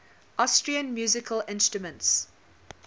austrian musical instruments